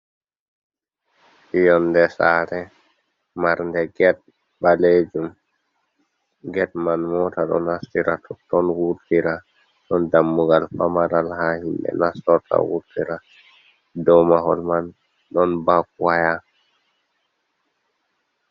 Yonde sare marde get balejum get man mota do nastira toton wurtira, don dammugal pamaral ha himbe nastota wurtira do mahol man ɗon bak waya.